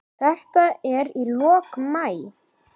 Þetta er í lok maí.